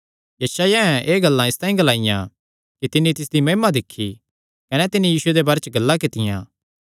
यशायाहें एह़ गल्लां इसतांई ग्लाईयां कि तिन्नी तिसदी महिमा दिक्खी कने तिन्नी यीशुये दे बारे च गल्लां कित्तियां